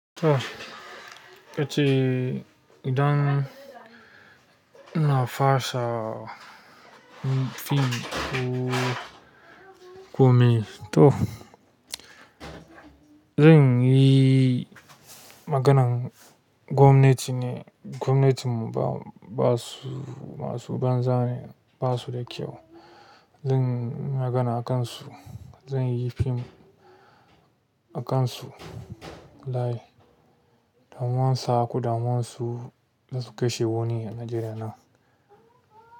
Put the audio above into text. To, kace idan na fasa fim ko gwamna, to zan yi maganan gwamnati ne. Gwamnati ba su, masu banza ne, ba su da kyau. Zan magana a kansu, zan yi fim a kansu. Laye, damuwansa, ku damuwansu da su ka shi wani a Najeriya nan.